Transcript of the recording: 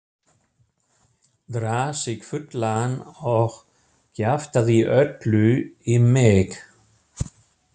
Drakk sig fullan og kjaftaði öllu í mig.